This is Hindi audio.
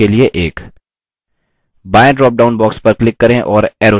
बायें dropdown box पर click करें और arrow चुनें